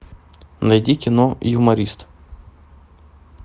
найди кино юморист